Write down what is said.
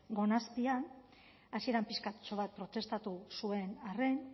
gona azpian hasieran pixkatxo bat protestatu zuen arren